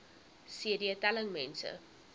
cd telling mense